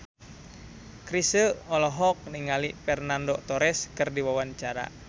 Chrisye olohok ningali Fernando Torres keur diwawancara